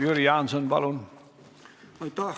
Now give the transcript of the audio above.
Jüri Jaanson, palun!